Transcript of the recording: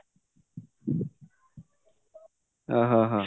ଅହଃ ହ ହ